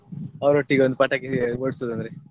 ಅವರೊಟ್ಟಿಗೆ ಒಂದು ಪಟಾಕಿ ಹೊಡ್ಸುದಂದ್ರೆ.